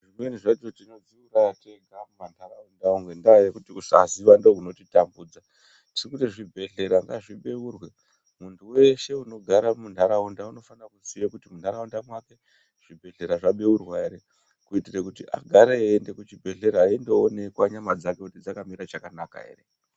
Zvimweni zvacho tinodziuraya tega mumantaraunda ngendaa yekuti kusaziya ndokunotitambudza. Tirikuti zvibhedhlera ngazvibeurwe muntu weshe unogara muntaraunda unofana kuziye kuti muntaraunda mwake zvibhedhlera zvabeurwa ere. Kuitire kuti agare eiende kuchibhedhlera eindooneka nyama dzake kuti dzakamira chakanaka ere.